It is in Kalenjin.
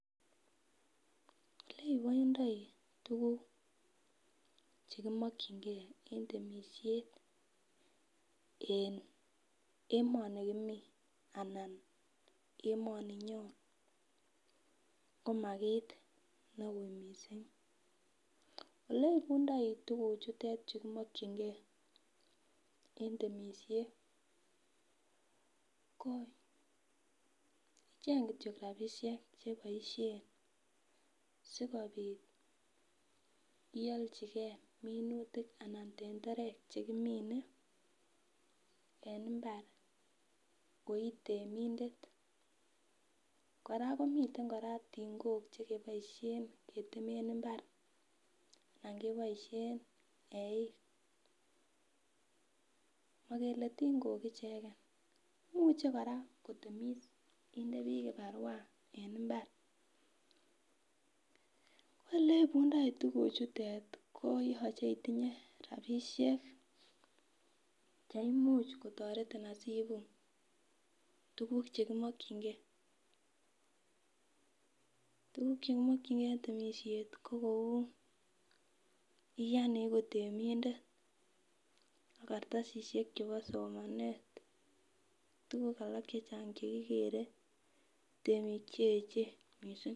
Lekoindoi tuguk chekimokyinkee en temishiet en emoni Kimi anan emoni nyon koma kit neuuii mising oleipundoi tuguchutet chu kimokyinkee en temishet ko icheng kityok rapishek cheboishen sikopit iolchikee minutik anan tenderek chekimine en mbar koitemindet kora komiten tingok chekiboishen keteme mbar ala ko eik mokele tingok icheken imuche kora kotemis kinde biik kiparua en mbar kole ipundoi tuguchutet koyoche itinye rapishek cheimuch kotoretin asiipu tuguk chemokyinkee tuguk chekimokyinkee en temishet ko kou iyan iiku temindet ak kartasishek alak chebo somanet ak tuguk alak chechang chekikere temik cheechen mising